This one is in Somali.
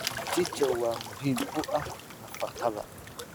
Mchichaa waa muhiim u ah nafaqada.